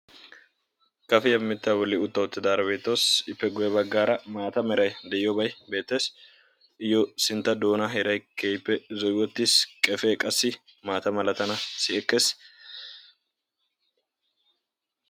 Kafiya mittaa bolli utta uttidaara beettawusu. Ippe guyye baggaara maata meray de"iyoobay beettes. Iyyoo sintta doona heeray keehippe zo"i uttis. Qefee qassi malatanaassi ekkes.